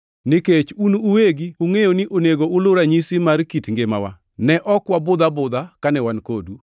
Nikech un uwegi ungʼeyo ni onego ulu ranyisi mar kit ngimawa. Ne ok wabudh abudha kane wan kodu,